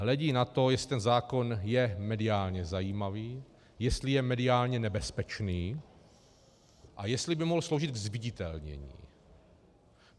Hledí na to, jestli ten zákon je mediálně zajímavý, jestli je mediálně nebezpečný a jestli by mohl sloužit ke zviditelnění.